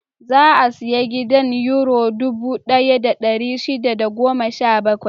Za a sayi gidan Yuro dubu ɗaya da ɗari shida da goma sha bakwai.